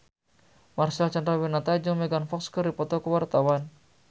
Marcel Chandrawinata jeung Megan Fox keur dipoto ku wartawan